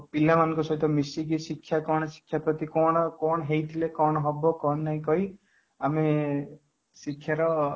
ପିଲା ମାନଙ୍କ ସହିତ ମିଶିକି ଶିକ୍ଷା କ'ଣ ଶିକ୍ଷା ପ୍ରତି କ'ଣ କ'ଣ ହୋଇଥିଲେ କ'ଣ ହେବ କ'ଣ ନାଇଁ କହି ଆମେ ଶିକ୍ଷାର